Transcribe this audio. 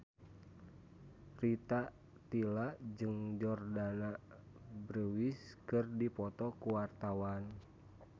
Rita Tila jeung Jordana Brewster keur dipoto ku wartawan